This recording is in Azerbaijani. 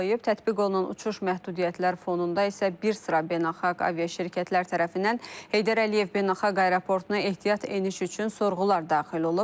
Tətbiq olunan uçuş məhdudiyyətləri fonunda isə bir sıra beynəlxalq aviaşirkətlər tərəfindən Heydər Əliyev beynəlxalq aeroportuna ehtiyat eniş üçün sorğular daxil olub.